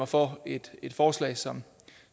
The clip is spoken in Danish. for et forslag som